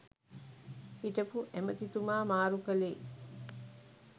හිටපු ඇමැතිතුමා මාරු කළේ